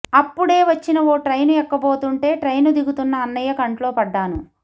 అప్పుడే వచ్చిన ఓ ట్రైను ఎక్కబోతూంటే ట్రైను దిగుతున్న అన్నయ్య కంట్లోపడ్డాను